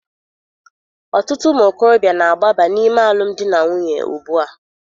Ọtụtụ ụmụ okorobịa na-agbaba n'ime alụmdi na nwunye ugbu a.